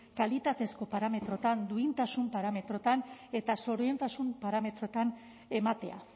kalitatezko parametroetan duintasun parametroetan eta zoriontasun parametroetan ematea